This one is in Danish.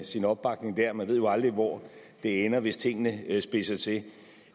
sin opbakning der man ved jo aldrig hvor det ender hvis tingene spidser til